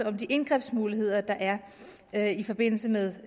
om de indgrebsmuligheder der er i forbindelse med